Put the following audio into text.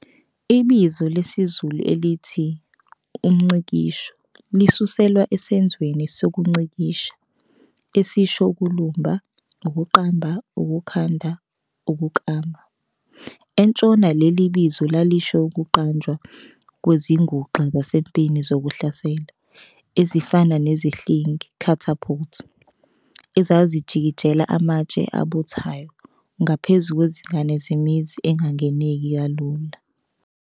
Ibizo lesizulu elithi "umngcikisho" lisuselwa esenzweni "sokungcikisha", esisho ukulumba, ukuqamba, ukukhanda, ukuklama. Entshona leli bizo lalisho ukuqanjwa kwezinguxa zasempini zokuhlasela, ezifana nezihlingi "catapult", ezazikikijela amatshe abuthayo ngaphezu kwezingange zemizi engangeneki kalula.